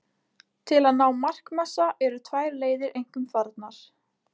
Til að ná markmassa eru tvær leiðir einkum farnar.